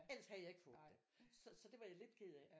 Ellers havde jeg ikke fået det så det var jeg lidt ked af